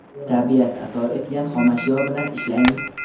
tabiat ato etgan xomashyo bilan ishlaymiz.